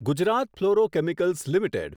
Gujarat fluorochemicals limited